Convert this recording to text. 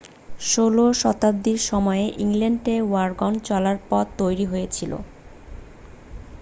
16 শতাব্দীর সময়েই ইংল্যান্ডে ওয়াগন চলার পথ তৈরি হয়েছিল